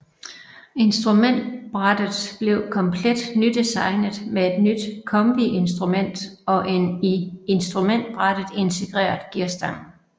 Instrumentbrættet blev komplet nydesignet med et nyt kombiinstrument og en i instrumentbrættet integreret gearstang